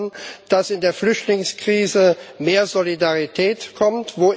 Sie fordern, dass in der Flüchtlingskrise mehr Solidarität kommt.